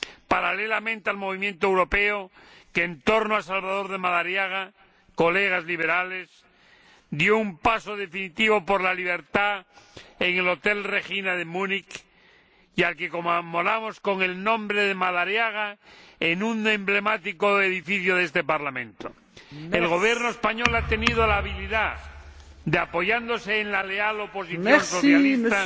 paralelamente al movimiento europeo que, en torno a Salvador de Madariaga, colegas liberales, dio un paso definitivo por la libertad en el Hotel Regina de Munich, y al que conmemoramos dando su nombre, Madariaga, a un emblemático edificio de este Parlamento. El Gobierno español ha tenido la habilidad de, apoyándose en la leal oposición socialista,